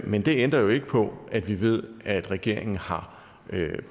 men det ændrer jo ikke på at vi ved at regeringen har